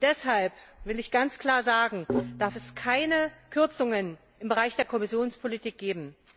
Deshalb will ich ganz klar sagen Es darf keine Kürzungen im Bereich der Kohäsionspolitik geben!